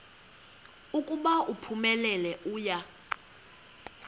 ukuba uphumelele uya